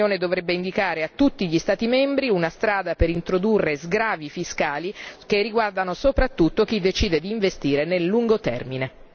L'Unione dovrebbe indicare a tutti gli Stati membri una strada per introdurre sgravi fiscali che riguardano soprattutto chi decide di investire nel lungo termine.